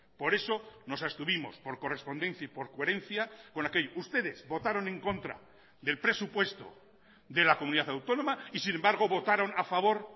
por eso nos abstuvimos por correspondencia y por coherencia con aquello ustedes votaron en contra del presupuesto de la comunidad autónoma y sin embargo votaron a favor